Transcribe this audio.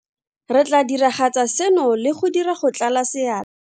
Re tla diragatsa seno le go dira go tlala sea.